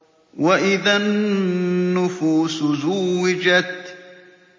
وَإِذَا النُّفُوسُ زُوِّجَتْ